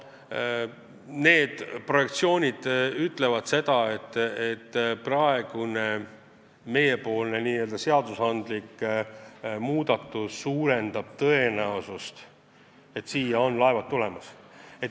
Need projektsioonid ütlevad seda, et see meie seadusandlik muudatus suurendab tõenäosust, et laevad siia tulevad.